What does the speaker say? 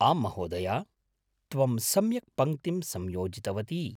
आम्, महोदया! त्वं सम्यक् पङ्क्तिं संयोजितवती।